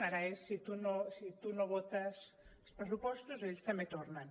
ara és si tu no votes els pressupostos ells també tornen